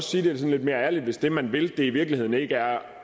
sige det lidt mere ærligt hvis det man vil i virkeligheden ikke er